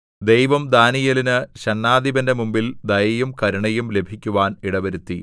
ദൈവം ദാനീയേലിന് ഷണ്ഡാധിപന്റെ മുമ്പിൽ ദയയും കരുണയും ലഭിക്കുവാൻ ഇടവരുത്തി